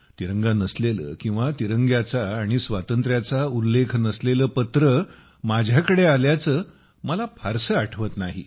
तिरंगा नसलेले किंवा तिरंग्याचा आणि स्वातंत्र्याचा उल्लेखनसलेले पत्र माझ्याकडे आल्याचे मला फारसे आठवत नाही